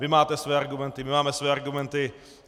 Vy máte své argumenty, my máme své argumenty.